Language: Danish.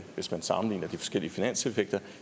hvis man sammenligner de forskellige finanseffekter